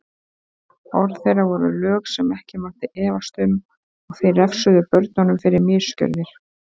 Orð þeirra voru lög sem ekki mátti efast um og þeir refsuðu börnunum fyrir misgjörðir.